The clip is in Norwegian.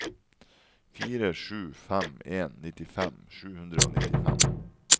fire sju fem en nittifem sju hundre og nittifem